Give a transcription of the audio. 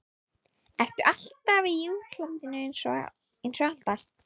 Ertu alltaf í útlandinu einsog Alda?